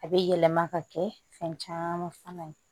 A bɛ yɛlɛma ka kɛ fɛn caman fana ye